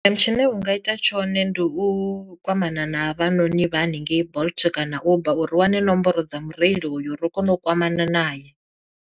Tshine u nga ita tshone ndi u kwamana na havhanoni vha haningei bolt kana uber uri u wane nomboro dza mureili uyo ro kona u kwamana naye.